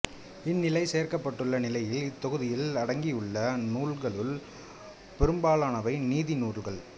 இன்னிலை சேர்க்கப்பட்டுள்ள நிலையில் இத்தொகுதியில் அடங்கியுள்ள நூல்களுள் பெரும்பாலானவை நீதி நூல்களாகும்